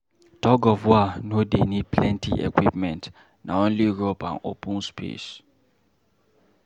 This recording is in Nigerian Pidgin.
Tug-of-war no dey need plenty equipment, na only rope and open space.